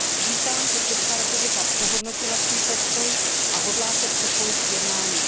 Vítám, že Česká republika přehodnotila svůj postoj a hodlá se připojit k jednáním.